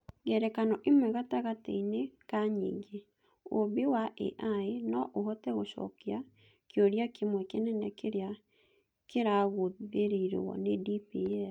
Ngerekano ĩmwe gatagatĩ-inĩ ka nyingĩ, ũũmbi wa AI no ũhote gũcokia kĩũria kĩmwe kĩnene kĩrĩa kĩragũthĩrĩrio nĩ DPL.